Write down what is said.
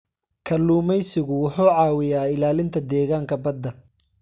Kalluumeysigu wuxuu caawiyaa ilaalinta deegaanka badda.